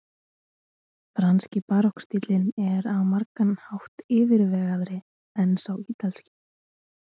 franski barokkstíllinn er á margan hátt yfirvegaðri en sá ítalski